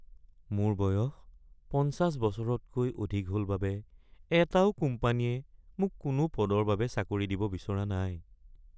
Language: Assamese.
মোৰ বয়স ৫০ বছৰতকৈ অধিক হ'ল বাবে এটাও কোম্পানীয়ে মোক কোনো পদৰ বাবে চাকৰি দিব বিচৰা নাই